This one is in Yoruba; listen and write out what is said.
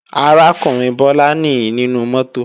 Arákùnrin Bọ́lá nìí nínú mọ́tò